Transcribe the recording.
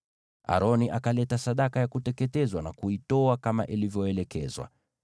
Aroni akaleta sadaka ya kuteketezwa na kuitoa kama ilivyoelekezwa.